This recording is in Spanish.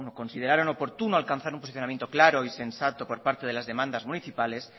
consideraron oportuno alcanzar un posicionamiento claro y sensato por parte de las demandas municipales